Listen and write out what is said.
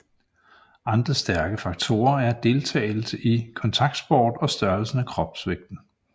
Andre stærke faktorer er deltagelse i kontaktsport og størrelsen af kropsvægten